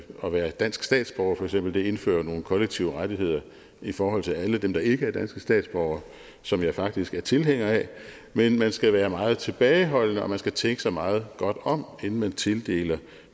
at være dansk statsborger for eksempel indfører nogle kollektive rettigheder i forhold til alle dem der ikke er danske statsborgere som jeg faktisk er tilhænger af men man skal være meget tilbageholdende og man skal tænke sig meget godt om inden man tildeler